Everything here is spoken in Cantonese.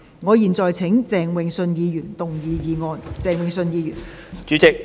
我現在請鄭泳舜議員動議議案。